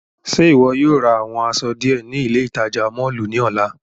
Ṣe iwọ yóò ra awọn aṣọ diẹ ni ile itaja mọllu ni ọla?